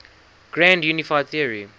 grand unified theory